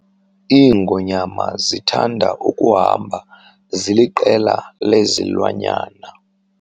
Iingonyama zithanda ukuhamba ziliqela lezilwanyana.